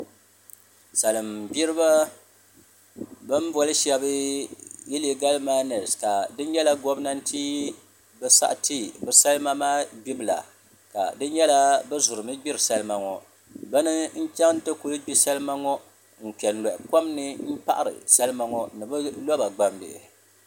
Salin gbiriba bi ni boli shab iligal maines ka di nyɛla gobnannti bi saɣati bi salima maa gbibu la ka di nyɛla bi zurimi gbiri salima ŋo bi ni n chɛŋ ti ku gbi salima ŋo n kpɛ n loɣi kom ni n paɣari salima ŋo ni bi roba gbambihi